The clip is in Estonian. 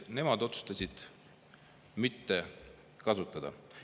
Nemad otsustasid mitte kasutada.